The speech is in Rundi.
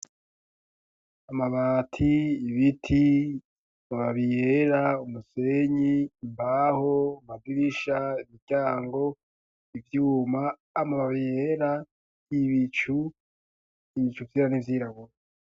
Amabati ibiti babiyera umusenyi imbaho magirisha imiryango ivyuma ama babiyera y'ibicu ibicuvyira n'ivyirabura.